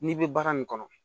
N'i bɛ baara nin kɔnɔ